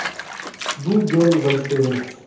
Bu jo‘n vazifa emas.